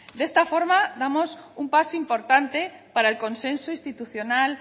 de esta forma damos un paso importante para el consenso institucional